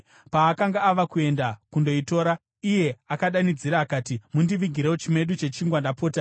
Paakanga ava kuenda kundoitora, iye akadanidzira akati, “Mundivigirewo chimedu chechingwa, ndapota.”